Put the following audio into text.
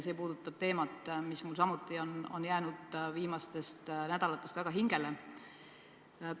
See puudutab teemat, mis mul samuti on viimastel nädalatel väga hingele jäänud.